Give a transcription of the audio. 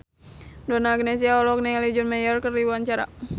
Donna Agnesia olohok ningali John Mayer keur diwawancara